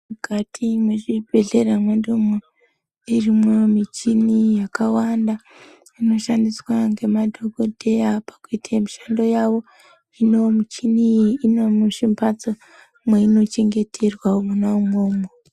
Mukati mwezvibhedhlera mwedumwo irimwo michini yakawanda inoshandiswa ngemadhogodheya pakuite mishando yavo. Hino mishini iyi inomuzvimbatso mweinochengeterwa mwona imwomwo.